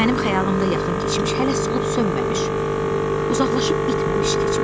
Mənim xəyalımda yaxın keçmiş hələ solub sönməmiş, uzaqlaşıb itməmiş keçmiş.